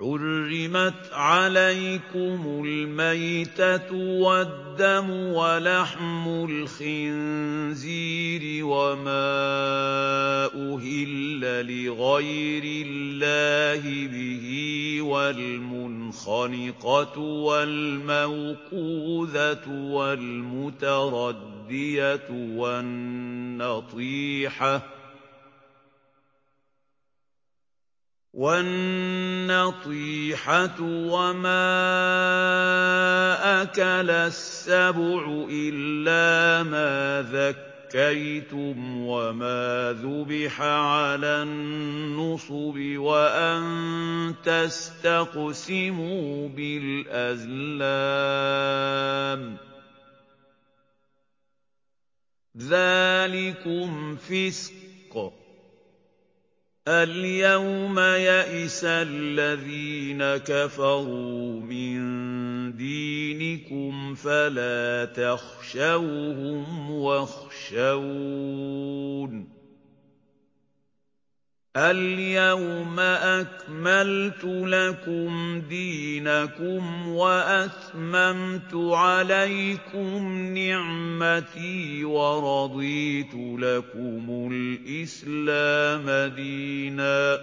حُرِّمَتْ عَلَيْكُمُ الْمَيْتَةُ وَالدَّمُ وَلَحْمُ الْخِنزِيرِ وَمَا أُهِلَّ لِغَيْرِ اللَّهِ بِهِ وَالْمُنْخَنِقَةُ وَالْمَوْقُوذَةُ وَالْمُتَرَدِّيَةُ وَالنَّطِيحَةُ وَمَا أَكَلَ السَّبُعُ إِلَّا مَا ذَكَّيْتُمْ وَمَا ذُبِحَ عَلَى النُّصُبِ وَأَن تَسْتَقْسِمُوا بِالْأَزْلَامِ ۚ ذَٰلِكُمْ فِسْقٌ ۗ الْيَوْمَ يَئِسَ الَّذِينَ كَفَرُوا مِن دِينِكُمْ فَلَا تَخْشَوْهُمْ وَاخْشَوْنِ ۚ الْيَوْمَ أَكْمَلْتُ لَكُمْ دِينَكُمْ وَأَتْمَمْتُ عَلَيْكُمْ نِعْمَتِي وَرَضِيتُ لَكُمُ الْإِسْلَامَ دِينًا ۚ